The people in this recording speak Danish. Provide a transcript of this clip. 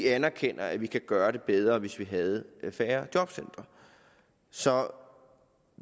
anerkender at vi kan gøre det bedre hvis vi havde færre jobcentre så